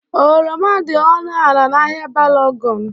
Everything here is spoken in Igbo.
Oroma dị ọnụ ala n'ahịa Balogun.